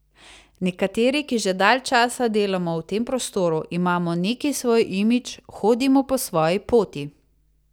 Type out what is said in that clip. Nekateri, ki že dalj časa delamo v tem prostoru, imamo neki svoj imidž, hodimo po svoji poti.